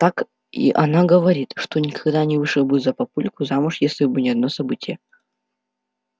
так и она говорит что никогда не вышла бы за папульку замуж если бы не одно событие